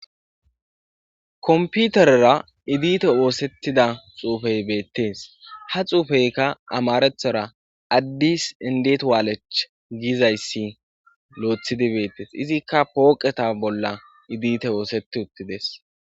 komputerera idite oosettida xuufey beettees ha xuufeyka amarethora addis indet waalech giizayssi loethidi beettees izikka pooqeta bolla idite woosetti uttides